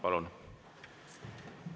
Palun!